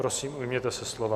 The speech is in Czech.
Prosím, ujměte se slova.